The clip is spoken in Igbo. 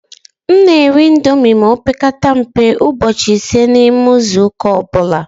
M na- eri índomi ma opekata mpe ụbọchị ịse na ime izuuka ọbula.